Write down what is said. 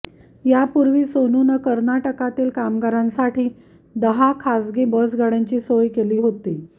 यापूर्वी सोनूनं कर्नाटकातील कामगारांसाठी सोनूनं दहा खासगी बसगाड्यांची सोय केली होती